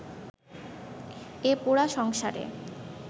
এ পোড়া সংসারে